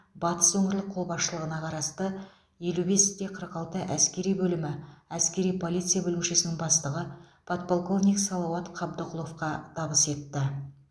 батыс өңірлік қолбасшылығына қарасты елу бесте қырық алты әскери бөлімі әскери полиция бөлімшесінің бастығы подполковник салауат қабдықұловқа табыс етті